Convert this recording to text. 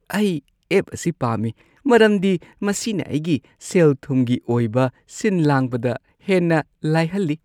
ꯑꯩ ꯑꯦꯞ ꯑꯁꯤ ꯄꯥꯝꯃꯤ ꯃꯔꯝꯗꯤ ꯃꯁꯤꯅ ꯑꯩꯒꯤ ꯁꯦꯜ-ꯊꯨꯝꯒꯤ ꯑꯣꯏꯕ ꯁꯤꯟ-ꯂꯥꯡꯕꯗ ꯍꯦꯟꯅ ꯂꯥꯏꯍꯜꯂꯤ ꯫